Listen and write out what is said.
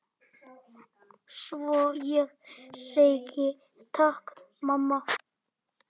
Svo ég segi: Takk mamma.